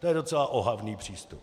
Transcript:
To je docela ohavný přístup.